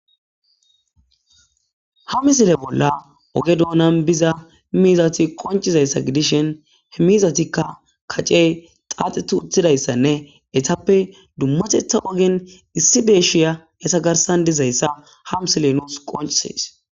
Ha misile bolla oge doonan biza miizati qoncciza issa gidishen mizatikka kacey xaaxet uttida issanne etappe dummatetha ogen issi deeshiya eta garssan diza issa ha misile nusi qonccisees.